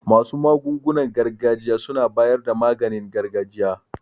Masu magungunan gargajiya suna bayar da maganin gargajiya.